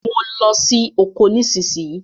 Mo ló sì okò nísìsiyìí!